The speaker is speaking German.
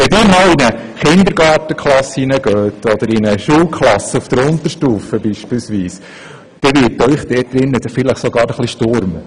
Wenn Sie einmal in eine Kindergartenklasse oder in eine Schulklasse auf der Unterstufe gehen, dann wird Ihnen dort drin vielleicht sogar etwas schwindlig.